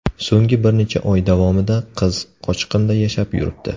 So‘nggi bir necha oy davomida qiz qochqinda yashab yuribdi.